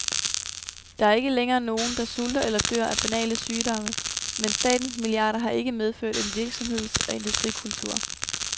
Der er ikke længere nogen, der sulter eller dør af banale sygdomme, men statens milliarder har ikke medført en virksomheds- og industrikultur.